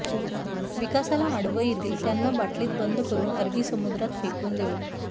विकासाला आडवं येतील त्यांना बाटलीत बंद करुन अरबी समुद्रात फेकून देवू